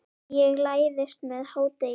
Ég læðist með hádegis